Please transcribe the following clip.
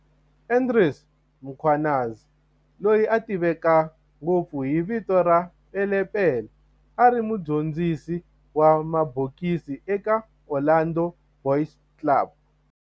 Andries Mkhwanazi, loyi a tiveka ngopfu hi vito ra"Pele Pele", a ri mudyondzisi wa mabokisi eka Orlando Boys Club